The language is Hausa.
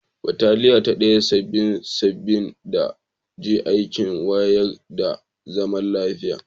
Bataliya ta Daya -Saba'in -Saba'in ta je aikin wanzar da zaman lafiya.